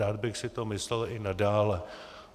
Rád bych si to myslel i nadále.